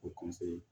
O